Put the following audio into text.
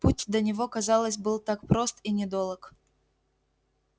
путь до него казалось был так прост и недолог